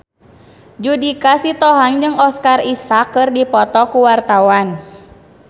Judika Sitohang jeung Oscar Isaac keur dipoto ku wartawan